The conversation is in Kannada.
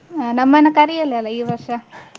ಹ, ನಮ್ಮನ್ನ ಕರಿಯೆಲ್ಲಲ್ಲ ಈ ವರ್ಷ.